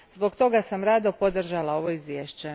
Zbog toga sam rado podržala ovo izvješće.